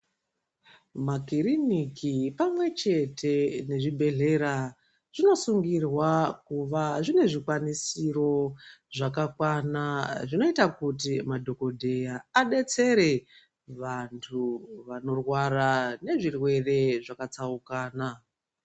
Makiriniki pamwe chete mezvibhedhlera zvinosungirwa kuva zvine zvikwanisiro zvakakwana zvinoita kuti madhokodheya adetsereke vantu vanorwara nezvirwere zvakatsauakana.